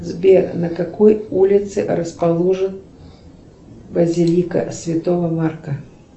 сбер на какой улице расположен базилика святого марка